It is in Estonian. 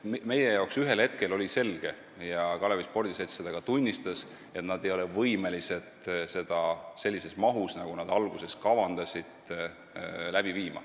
Meie jaoks oli aga ühel hetkel selge ja Kalevi Spordiselts seda ka tunnistas, et nad ei ole võimelised tegema seda projekti sellises mahus, nagu nad alguses kavandasid.